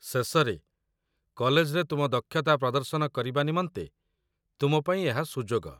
ଶେଷରେ, କଲେଜରେ ତୁମ ଦକ୍ଷତା ପ୍ରଦର୍ଶନ କରିବା ନିମନ୍ତେ ତୁମ ପାଇଁ ଏହା ସୁଯୋଗ